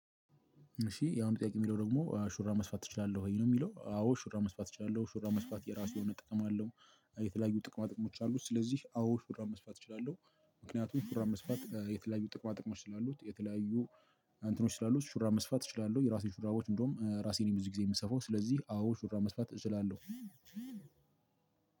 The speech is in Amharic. እሺ ያሁኑ ጥያቄ የሚለው ደግሞ ሹራብ መስፋት እችላለሁ ወይ ነው? የሚለው አዎ ሹራብ መስፋት እችላለሁ ሹራብ መስፋት የራሱ የሆነ ጥቅም አለው። የተለያዩ ጥቅማጥቅሞች አሉት ስለዚህ አዎ ሹራብ መስፋት እችላለሁ። ምክኛቱም ሹራብ መስፋት የተለያየ ጥቅማጥቅሞች ስላሉት የተለያዩ አንተኖች ስላሉት ሹራብ መስፋት እችላለሁ የራሴ ሹራቦች እንደውም ራሴን የምሰፋው ስለዚህ አዎ ሹራብ መስፋት እችላለሁ።